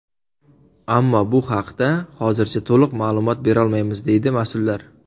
Ammo bu haqda hozircha to‘liq ma’lumot berolmaymiz, deydi mas’ullar.